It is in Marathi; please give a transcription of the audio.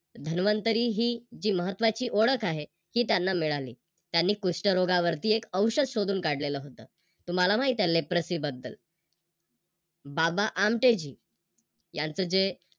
धन्वंतरी ही महत्त्वाची ओळख आहे ती त्यांना मिळाली. त्यांनी कुष्ठरोगावरती एक औषध शोधून काढलेल होत. तुम्हाला माहिती Leprocy बद्दल. बाबा आमटेजी यांच जे